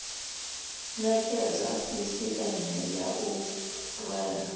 nekedza sisieme ya u rwela